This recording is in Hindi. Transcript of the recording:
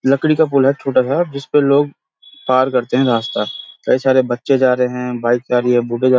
लकड़ी का पुल है छोटा-सा जिसपे लोग पार करते हैं रास्ता कई सारे बच्चे जा रहे हैं बाइक जा रही हैं बुड्डे जा--